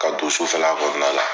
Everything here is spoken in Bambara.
Ka don sufɛ la kɔnɔna la.